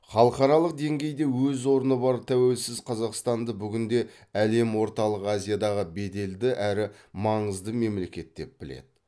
халықаралық деңгейде өз орны бар тәуелсіз қазақстанды бүгінде әлем орталық азиядағы беделді әрі маңызды мемлекет деп біледі